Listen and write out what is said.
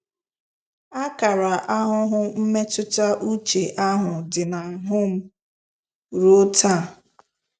Akara ahụhụ mmetụta uche ahụ dị n'ahụ m ruo taa. ”